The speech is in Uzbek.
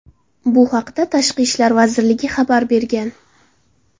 Bu haqda Tashqi ishlar vazirligi xabar bergan .